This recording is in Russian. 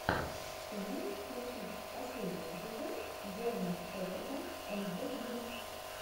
ты можешь включить последний эпизод джорман шеферда анд дог бридс